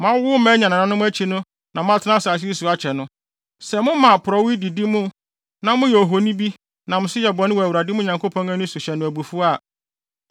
Moawowo mma anya nananom akyi no na moatena asase no so akyɛ no, sɛ moma porɔwee didi mo na moyɛ ohoni bi nam so yɛ bɔne wɔ Awurade mo Nyankopɔn ani so hyɛ no abufuw a,